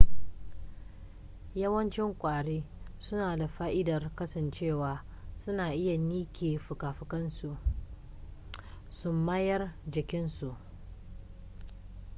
yawancin kwari suna da fa'idar kasancewa suna iya ninke fuka-fukansu su mayar jikin su